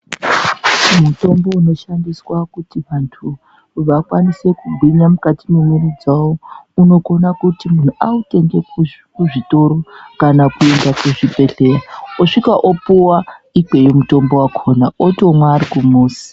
Mutombo unoshandiswa kuti antu vakwanise kugwinya mukati mwemwiri dzawo unokona kuti munhu autenge kuzvi kuzvitoro kana kuende kuzvibhedhlera osvika opuwa Ikweyo mutombo wakhona otomwa ari kumuzi.